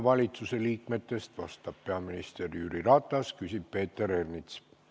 Valitsusliikmetest vastab järgmisena peaminister Jüri Ratas, küsib Peeter Ernits.